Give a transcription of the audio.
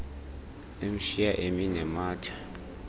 emshiya emi nematha